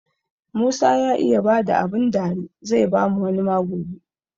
Musa ya iya bada abun dari, zai bamu wani ma gobe.